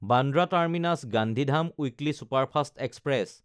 Bandra টাৰ্মিনাছ–গান্ধীধাম weekly superfast express